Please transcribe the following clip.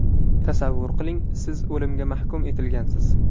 Tasavvur qiling, siz o‘limga hukm etilgansiz.